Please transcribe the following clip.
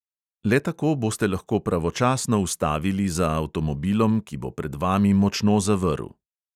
Le tako boste lahko pravočasno ustavili za avtomobilom, ki bo pred vami močno zavrl.